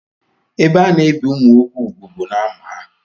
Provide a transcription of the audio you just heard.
Ebe ana-ebi ụmụ nwoke úgwù bụ n'amụ ha.